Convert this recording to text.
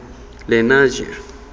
lenasia